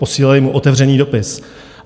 Posílali mu otevřený dopis.